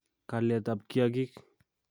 Kalyetab kiagik